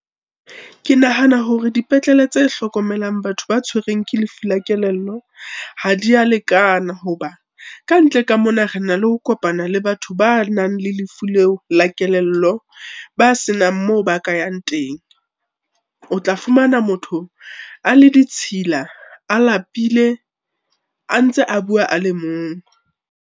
Ke nahana hore dipetlele tse hlokomelang batho ba tshwereng ke lefu la kelello ha di a lekana hoba, ka ntle ka mona re na le ho kopana le batho ba nang le lefu leo la kelello, ba senang moo ba ka yang teng. O tla fumana motho a le ditshila, a lapile, a ntse a bua a le mong.